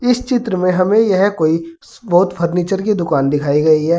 इस चित्र में हमें यह कोई बहोत फर्नीचर की दुकान दिखाई गई है।